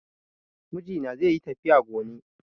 Mijina zaiyi tafiya gone